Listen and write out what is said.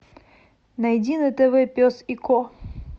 найди на тв пес и ко